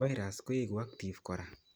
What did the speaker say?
Virus koeku active kora